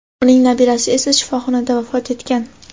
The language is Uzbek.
uning nabirasi esa shifoxonada vafot etgan.